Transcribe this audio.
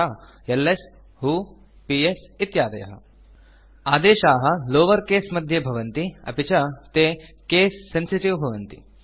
यथा एलएस व्हो पीएस इत्यादयः आदेशाः लावर केस मध्ये भवन्ति अपि च ते केस सेन्सिटिव् भवन्ति